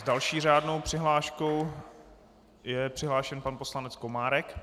S další řádnou přihláškou je přihlášen pan poslanec Komárek.